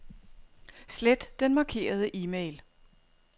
Slet den markerede e-mail.